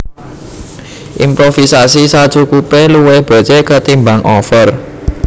Improvisasi sakcukupé luwih becik ketimbang over